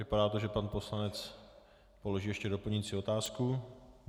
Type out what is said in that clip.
Vypadá to, že pan poslanec položí ještě doplňující otázku.